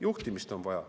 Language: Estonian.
Juhtimist on vaja.